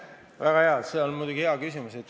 See on muidugi hea küsimus.